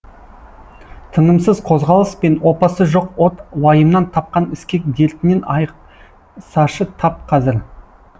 тынымсыз қозғалыс пен опасы жоқ от уайымнан тапқан іскек дертінен айықсашы тап қазір